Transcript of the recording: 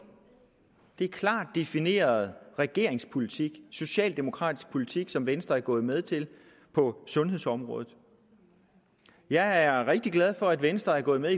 det er klart defineret regeringspolitik socialdemokratisk politik som venstre er gået med til på sundhedsområdet jeg er rigtig glad for at venstre er gået med